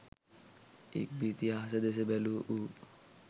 ඉක්බිති අහස දෙස බැලූ ඌ